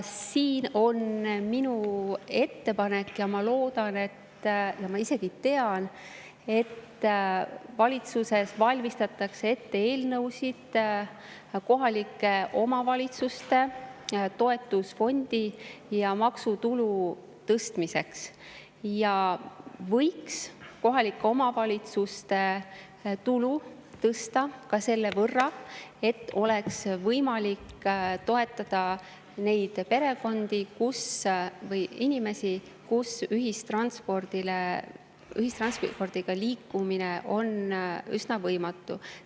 Siin on minu ettepanek – ja ma loodan ja isegi tean, et valitsuses valmistatakse ette eelnõusid kohalike omavalitsuste toetusfondi ja maksutulu tõstmiseks –, et võiks kohalike omavalitsuste tulu tõsta ka selle võrra, et oleks võimalik toetada neid perekondi või inimesi, kellel ühistranspordiga liikumine on üsna võimatu.